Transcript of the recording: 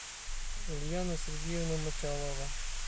ульяна сергеевна мочалова